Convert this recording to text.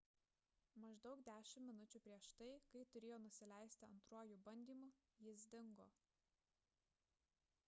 maždaug dešimt minučių prieš tai kai turėjo nusileisti antruoju bandymu jis dingo